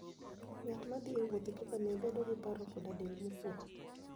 Ng'at ma thi e wuoth gi ngamia bedo gi paro koda del mokuwe.